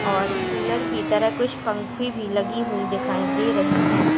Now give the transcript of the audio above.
और कूलर की तरह कुछ पंखी भी लगी हुई दिखाई दे रही है।